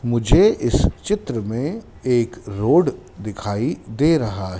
मुझे इस चित्र में एक रोड दिखाई दे रहा है।